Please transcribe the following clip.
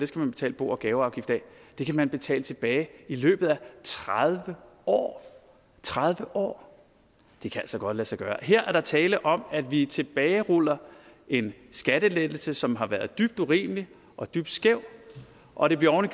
skal man betale bo og gaveafgift af kan man betale tilbage i løbet af tredive år tredive år det kan altså godt lade sig gøre her er der tale om at vi tilbageruller en skattelettelse som har været dybt urimelig og dybt skæv og det bliver oven i